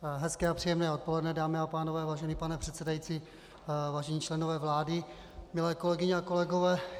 Hezké a příjemné odpoledne, dámy a pánové, vážený pane předsedající, vážení členové vlády, milé kolegyně a kolegové.